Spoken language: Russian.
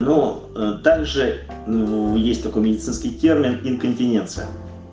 ну также есть такой медицинский термин инконтиненция